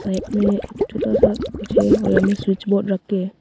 Rack में एक छोटा सा कुछ है और यहां में स्विच बोर्ड रखे है।